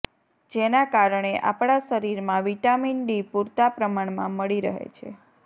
જેના કારણે આપણા શરીરમાં વિટામિન ડી પૂરતા પ્રમાણમાં મળી રહે છે